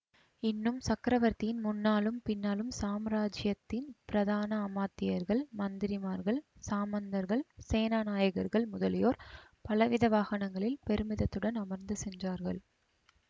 இன்னும் சக்கரவர்த்தியின் முன்னாலும் பின்னாலும் சாம்ராஜ்யத்தின் பிரதான அமாத்தியர்கள் மந்திரிமார்கள் சாமந்தர்கள் சேனா நாயகர்கள் முதலியோர் பலவித வாகனங்களில் பெருமிதத்துடன் அமர்ந்து சென்றார்கள்